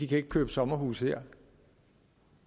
kan købe sommerhuse her